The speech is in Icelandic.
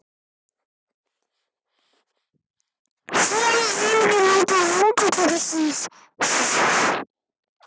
Silla vilji ekki sjá það endurtaka sig.